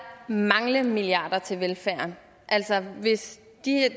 mangle milliarder til velfærden altså hvis